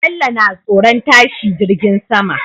Bello na tsoron tashi jirgin sama